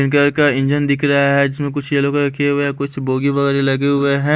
का इंजन दिख रहा है जिसमें कुछ येलो कलर की हुए है कुछ बोगी वाली लगे हुए हैं।